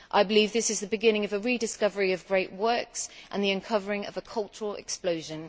I believe this is the beginning of a rediscovery of great works and the uncovering of a cultural explosion.